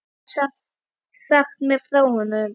Geturðu sagt mér frá honum?